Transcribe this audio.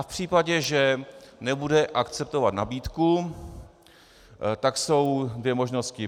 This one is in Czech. A v případě, že nebude akceptovat nabídku, tak jsou dvě možnosti.